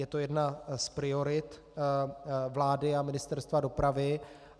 Je to jedna z priorit vlády a Ministerstva dopravy.